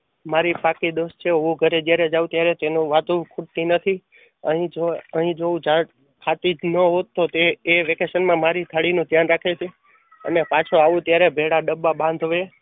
મારી પાકી દોસ્ત છે હું જયારે ઘરે જાવ ત્યારે તેનું વાતું ખૂટતી નથી. અહીં જો થતી જ ન હોટ તો એ વેકેશન માં મારી થાળી નું ધ્યાન રાખે છે અને પાછો આવું ત્યારે બેલા ડબ્બા બાંધવે